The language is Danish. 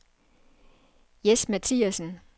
Jes Mathiasen